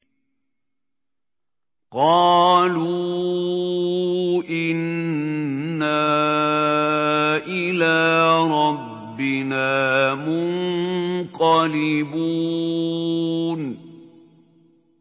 قَالُوا إِنَّا إِلَىٰ رَبِّنَا مُنقَلِبُونَ